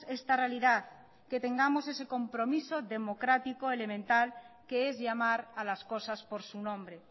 esta realidad que tengamos ese compromiso democrático elemental que es llamar a las cosas por su nombre